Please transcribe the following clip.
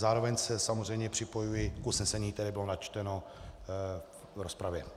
Zároveň se samozřejmě připojuji k usnesení, které bylo načteno v rozpravě.